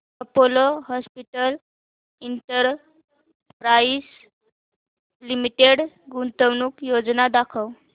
Apollo hospitals enterprise limited गुंतवणूक योजना दाखव